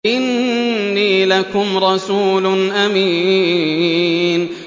إِنِّي لَكُمْ رَسُولٌ أَمِينٌ